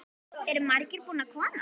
Eru margir búnir að koma?